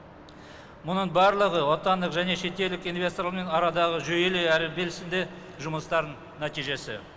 мұның барлығы отандық және шетелдік инвесторлармен арадағы жүйелі әрі белсенді жұмыстардың нәтижесі